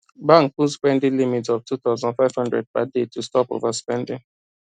bank put spending limit of two thousand five hundred per day to stop overspending